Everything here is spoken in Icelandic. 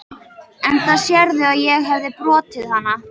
Enda sérðu að ég hefi brotið hana.